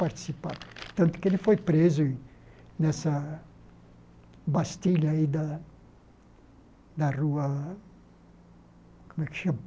Participava tanto que ele foi preso nessa bastilha aí da da rua... Como é que chama?